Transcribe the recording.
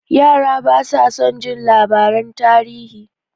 Yara basu son jin labaran tarihi.